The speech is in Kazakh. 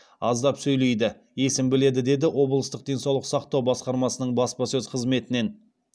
аздап сөйлейді есін біледі деді облыстық денсаулық сақтау басқармасының баспасөз қызметінен